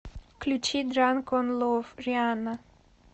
включи дранк он лов рианна